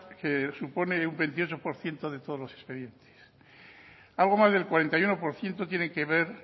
que supone un veintiocho por ciento de todos los expedientes algo más del cuarenta y uno por ciento tiene que ver